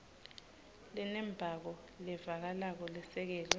lenembako levakalako lesekelwe